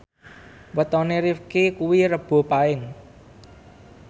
wetone Rifqi kuwi Rebo Paing